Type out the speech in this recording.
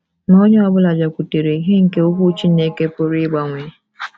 Ma onye ọ bụla bịakwutere ìhè nke Okwu Chineke pụrụ ịgbanwe.